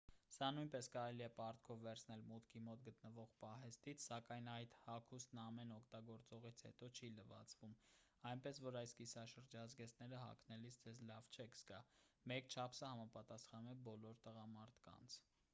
սա նույնպես կարելի է պարտքով վերցնել մուտքի մոտ գտնվող պահեստից սակայն այդ հագուստն ամեն օգտագործողից հետո չի լվացվում այնպես որ այս կիսաշրջազգեստները հագնելիս ձեզ լավ չեք զգա մեկ չափսը համապատասխանում է բոլոր տղամարդկանց